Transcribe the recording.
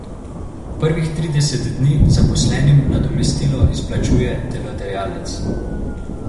Prvih trideset dni zaposlenim nadomestilo izplačuje delodajalec.